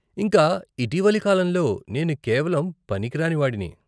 ఇంక ఇటీవలి కాలంలో నేను కేవలం పనికిరాని వాడిని .